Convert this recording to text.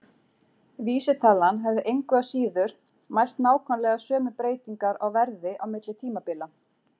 Vísitalan hefði engu að síður mælt nákvæmlega sömu breytingar á verði á milli tímabila.